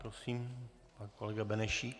Prosím, pan kolega Benešík.